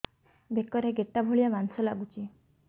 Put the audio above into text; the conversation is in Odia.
ବେକରେ ଗେଟା ଭଳିଆ ମାଂସ ଲାଗୁଚି